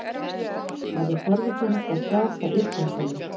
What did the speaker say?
Verður forvitnilegt að sjá hvar Ísland verður.